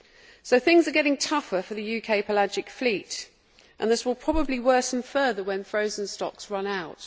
So things are getting tougher for the UK pelagic fleet, and this will probably worsen further when frozen stocks run out.